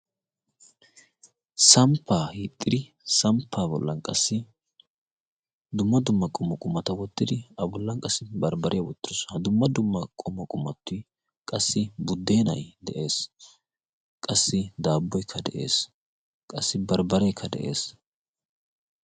samppaa hixxiri samppa bollan qassi dumma dumma qommo qumata wottidi a bollan qassi barbbaree wottirosona. ha dumma dumma qomo qumatti qassi buddeenay de7ees qassi daabboikka de7ees qassi barbbareekka de7ees